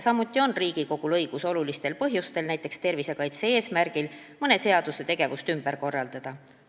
Samuti on Riigikogul õigus olulistel põhjustel, näiteks tervisekaitse eesmärgil, mõne seaduse kohast tegevust ümber korraldada.